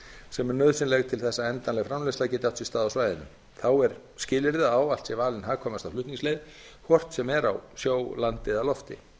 sem er nauðsynleg til að endanleg framleiðsla geti átt sér stað á svæðinu þá er skilyrði að ávallt sé valin hagkvæmasta flutningsleið hvort sem er á sjó landi eða lofti